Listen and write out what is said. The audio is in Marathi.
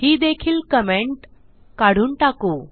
ही देखील कमेंट काढून टाकु